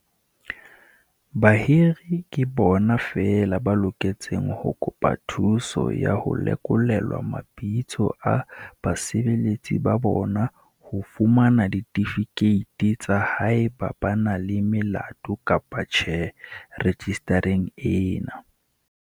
Bahiri ke bona feela ba loketseng ho kopa thuso ya ho lekolelwa mabitso a basebeletsi ba bona ho fumana ditifikeiti tsa haeba ba na le melato kapa tjhe rejistareng ena.